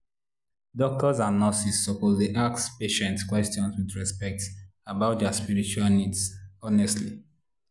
doctors and nurses suppose dey ask patients question with respect about their spiritual needs honestly.